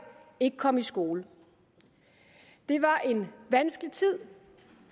ikke komme i skole det var en vanskelig tid